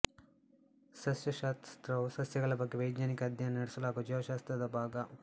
ಸಸ್ಯಶಾಸ್ತ್ರವು ಸಸ್ಯಗಳ ಬಗ್ಗೆ ವೈಜ್ಞಾನಿಕ ಅಧ್ಯಯನ ನಡೆಸಲಾಗುವ ಜೀವಶಾಸ್ತ್ರದ ಭಾಗ